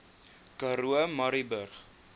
karoo murrayburg